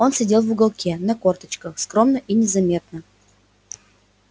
он сидел в уголке на корточках скромно и незаметно